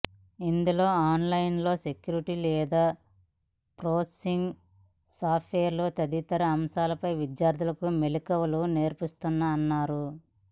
ఇందులో online security data processing software తదితర అంశాలపై విద్యార్థులకు మెళకువలు నేర్పిస్తామన్నారు